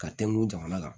Ka tɛmɛn jamana kan